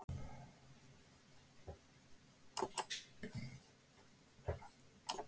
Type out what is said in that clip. Spánverjar lögðu Finna og Slóvenar blönduðu sér í toppbaráttu íslenska riðilsins með sigri á Albaníu.